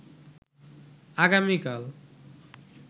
আগামীকাল